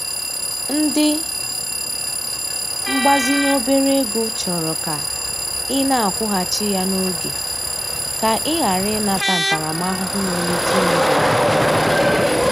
Ndị mgbazinye obere ego chọrọ ka ị na-akwụghachi ya n'oge, ka ị ghara ị nata ntaramahụhụ nwere ike imebi aha gị